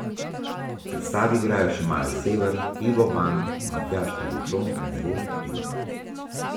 V predstavi igrajo še Maja Sever, Ivo Ban, Matjaž Tribušon in Zvone Hribar.